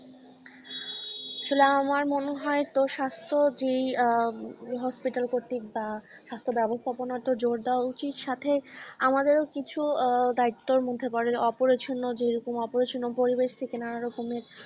আসলে আমার মনে হয় যে, তো স্বাস্থ্য যে আহ hospital কর্তিক বা স্বাস্থ্য ব্যবস্থাপনা যে জোর দেওয়া উচিত সাথে আমাদেরও কিছু আহ দায়িত্বের মধ্যে পড়ে অপরিচ্ছন্ন যে রকম অপরিচ্ছন্ন পরিবেশ থেকে নানা রকমের